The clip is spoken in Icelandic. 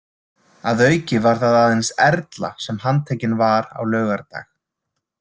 Að auki var það aðeins Erla sem handtekin var á laugardag.